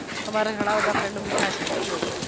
તમારે ઘણા બધા friend મીઠા છે